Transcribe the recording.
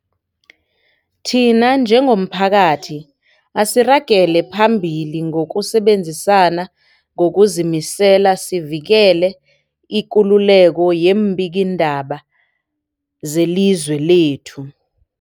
Thina njengomphakathi, asiragele phambili ngokusebenzisana ngokuzimisela sivikele ikululeko yeembikiindaba zelizwe lethu.